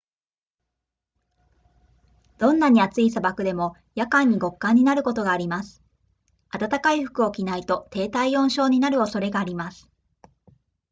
どんなに暑い砂漠でも夜間に極寒になることがあります暖かい服を着ないと低体温症になる恐れがあります